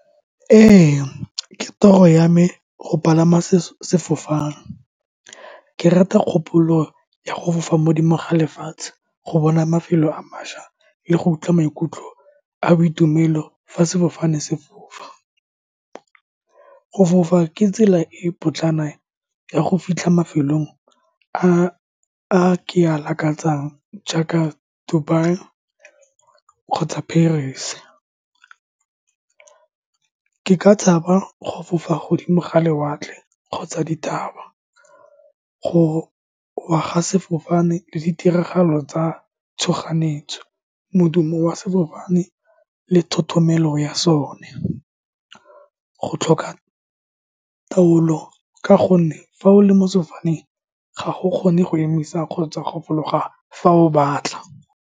Ee, ke toro ya me go palama sefofane. Ke rata kgopolo ya go fofa modimo ga lefatshe, go bona mafelo a maswa le go utlwa maikutlo a boitumelo fa sefofane se fofa. Go fofa ke tsela e e potlana ya go fitlha mafelong a ke a lakatsang jaaka Dubai kgotsa Paris. Ke ka tshaba go fofa mogodimo ga lewatle kgotsa dithaba, gowa ga sefofane le ditiragalo tsa tshoganyetso, modumo wa sefofane le thothomelo ya sone, go tlhoka taolo ka gonne fa o le mo sefofane, ga go kgone go emisa kgotsa go fologa fa o batla.